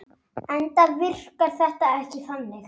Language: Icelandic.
Enda virkaði þetta ekki þannig.